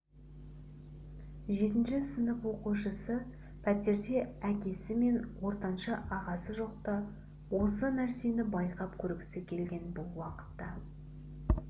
жетінші сынып оқушысы пәтерде әкесі мен ортаншы ағасы жоқта осы нәрсені байқап көргісі келген бұл уақытта